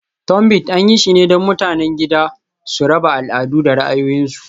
Tunbit, an yi shi ne don mutanen gida su raba al'adu da ra'ayoyinsu.